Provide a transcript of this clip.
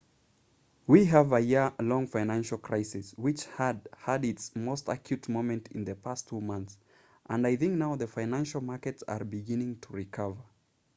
we have a year-long financial crisis which has had its most acute moment in the past two months and i think now the financial markets are beginning to recover